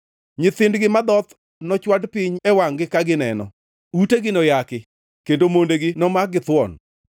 Nyithindgi madhoth nochwad piny e wangʼ-gi ka gineno, utegi noyaki, kendo mondegi nomak githuon.